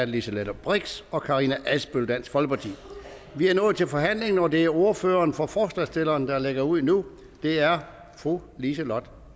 liselott blixt og fru karina adsbøl dansk folkeparti vi er nået til forhandlingen og det er ordføreren for forslagsstillerne der lægger ud nu det er fru liselott